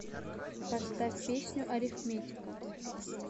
поставь песню арифметика